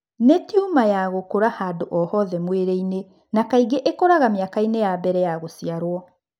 Nĩ tiuma ya gũkũra handũ o hothe mwĩrĩ-inĩ na kaingĩ ĩkũraga mĩaka-inĩ ya mbere ya gũciarwo.